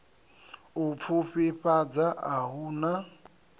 u pfufhifhadza a hu na